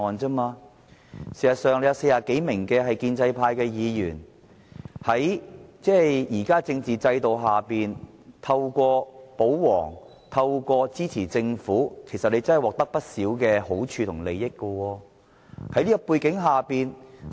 事實上，有40多名建制派議員，在現行的政治制度下，透過保皇、透過支持政府，其實他們真的獲得不少好處和利益。